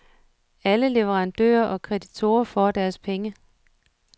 Alle leverandører og kreditorer får deres penge.